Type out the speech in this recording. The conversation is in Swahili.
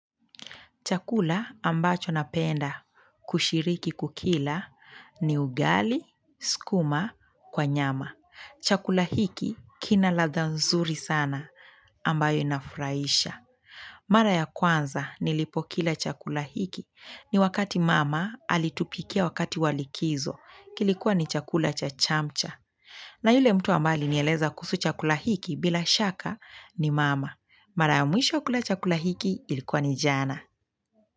Chakula ambacho napenda kushiriki kukila ni ugali, skuma, kwa nyama. Chakula hiki kina ladha nzuri sana ambayo inafurahisha. Mara ya kwanza nilipo kila chakula hiki ni wakati mama alitupikia wakati wa likizo kilikuwa ni chakula cha chamcha. Na yule mtu ambae alinieleza kuhusu chakula hiki bila shaka ni mama. Mara ya mwisho wa kula chakula hiki ilikuwa ni jana.